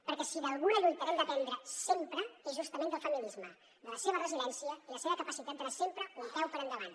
perquè si d’alguna lluita hem d’aprendre sempre és justament del feminisme de la seva resiliència i la seva capacitat d’anar sempre un peu per endavant